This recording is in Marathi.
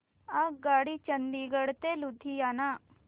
आगगाडी चंदिगड ते लुधियाना